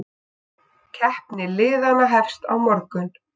Keppni liðanna hefst á morgun.